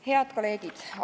Head kolleegid!